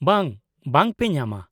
ᱵᱟᱝ, ᱵᱟᱝ ᱯᱮ ᱧᱟᱢᱟ᱾